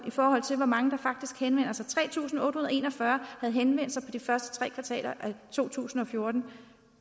i forhold til hvor mange der faktisk henvender sig tre tusind otte hundrede og en og fyrre havde henvendt sig i de første tre kvartaler af to tusind og fjorten